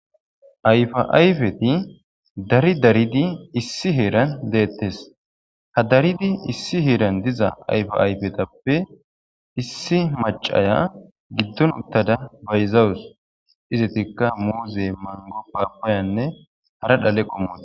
ayfa ayfeti dari daridi issi heeran deettes ha daridi issi heeran diza ayfa ayfetappe issi macaya giddon uttada bayzawus izetikka muuze mango paapayanne hara dhaleqqo muze